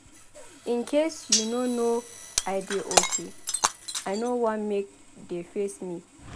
In case you no know I dey okay. I no wan make de face me.